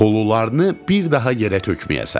Xulularını bir daha yerə tökməyəsən.